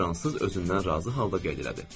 Fransız özündən razı halda qeyd elədi.